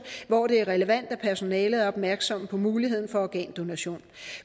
hvor det er relevant at personalet er opmærksomme på muligheden for organdonation